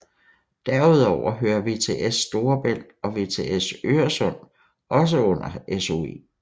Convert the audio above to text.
Derudover hører VTS Storebælt og VTS Øresund også under SOE